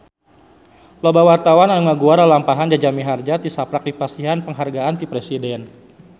Loba wartawan anu ngaguar lalampahan Jaja Mihardja tisaprak dipasihan panghargaan ti Presiden